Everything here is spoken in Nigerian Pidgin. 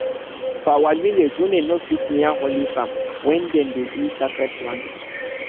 for our village women no fit near holy farm when dem dey do sacred planting